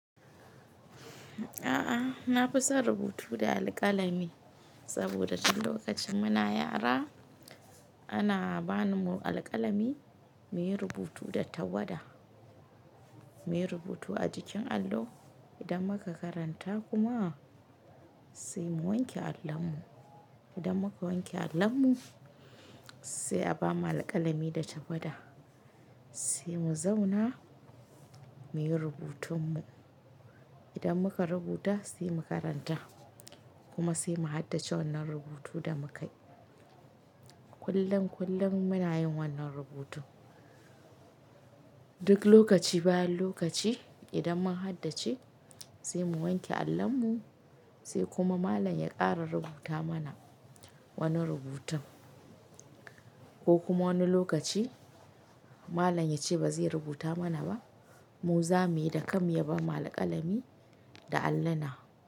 A'a, na fi son rubutu da alƙalami saboda duk lokacin muna yara ana ba mu alƙalami muyi rubutu da tawada. Muyi rubutu a jikin allo, idan muka karanta kuma sai mu wanke allon mu. Idan muka wanke allon mu sai a ba mu alƙalami da tawada sai mu zauna muyi rubutun mu. Idan muka rubuta sai mu karanta kuma sai mu haddace wannan rubutu da muka yi. Kullum kullum muna yin wannan rubutu. Duk lokaci bayan lokaci idan mun haddace sai mu wanke allon mu sai kuma malam ya ƙara rubuta mana wani rubutun ko kuma wani lokaci malam ya ce ba zai rubuta mana ba mu za mu yi da kan mu, ya ba mu alƙalami da alluna.